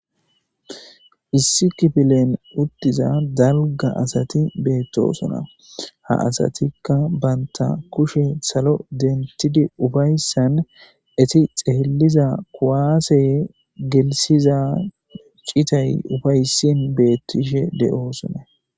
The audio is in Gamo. Issi kifilen uttiza dalga asati beettosona ha asatikka banta kushe salo dentidi ufayssan eti xeeliza kuwaase gelisiza citay ufayssin beettishe de7oosona.